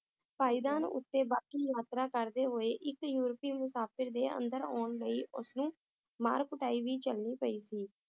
ਪਾਏਦਾਨ ਉਤੇ ਬਾਕੀ ਯਾਤਰਾ ਕਰਦੇ ਹੋਏ ਇੱਕ ਯੁਵਤੀ ਮੁਸਾਫ਼ਿਰ ਦੇ ਅੰਦਰ ਆਉਣ ਲਈ ਉਸਨੇ ਮਾਰ ਕੁਟਾਈ ਵੀ ਝੱਲਣੀ ਪਈ ਸੀ